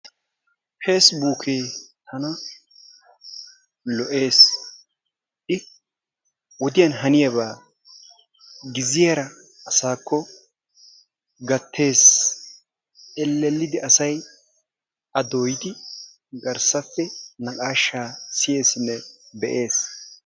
peesibuukkee tana lo"ees. I wodiyan haniyaabaa giziyaara asaakko gattees. Ellellidi asay a dooyidi garssappe naqaashaa siyeesinne be"ees.